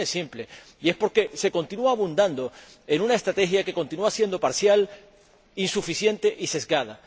Y la razón es simple, y es que se continúa abundando en una estrategia que continúa siendo parcial, insuficiente y sesgada.